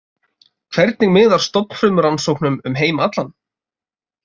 Hvernig miðar stofnfrumurannsóknum um heim allan?